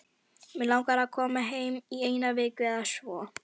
Mig langar að koma heim í eina viku eða svo.